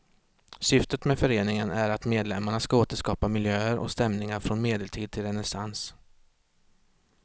Syftet med föreningen är att medlemmarna ska återskapa miljöer och stämningar från medeltid till renässans.